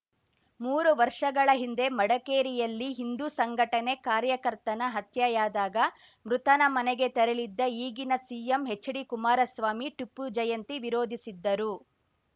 ಮೂರು ವರ್ಷಗಳ ಹಿಂದೆ ಮಡಕೇರಿಯಲ್ಲಿ ಹಿಂದು ಸಂಘಟನೆ ಕಾರ್ಯಕರ್ತನ ಹತ್ಯೆಯಾದಾಗ ಮೃತನ ಮನೆಗೆ ತೆರಳಿದ್ದ ಈಗಿನ ಸಿಎಂ ಹೆಚ್‌ಡಿಕುಮಾರಸ್ವಾಮಿ ಟಿಪ್ಪು ಜಯಂತಿ ವಿರೋಧಿಸಿದ್ದರು